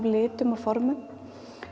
litum og formum